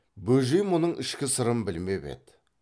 бөжей мұның ішкі сырын білмеп еді